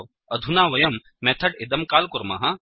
अधुना वयं मेथड् इदं काल् कुर्मः